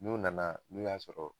N'u nana n'u y'a sɔrɔ